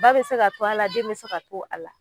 Ba bɛ se ka to a la, den bɛ se ka to a la.